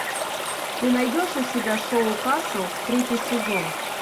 ты найдешь у себя шоу касл третий сезон